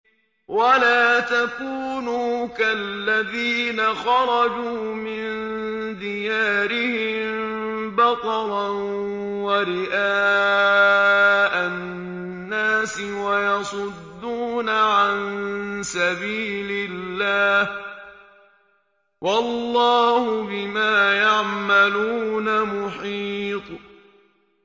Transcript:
وَلَا تَكُونُوا كَالَّذِينَ خَرَجُوا مِن دِيَارِهِم بَطَرًا وَرِئَاءَ النَّاسِ وَيَصُدُّونَ عَن سَبِيلِ اللَّهِ ۚ وَاللَّهُ بِمَا يَعْمَلُونَ مُحِيطٌ